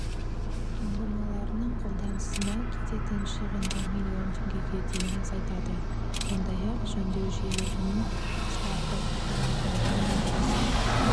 ұңғымаларының қолданысына кететін шығынды миллион теңгеге дейін азайтады сондай-ақ жөндеу жиілігін қысқартып қара алтын өндірісін